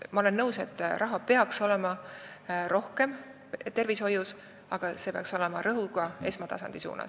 Ma olen nõus, et tervishoius peaks olema rohkem raha, aga see peaks olema rõhuga esmatasandile.